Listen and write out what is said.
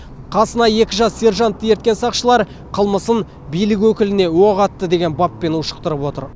қасына екі жас сержантты ерткен сақшылар қылмысын билік өкіліне оқ атты деген баппен ушықтырып отыр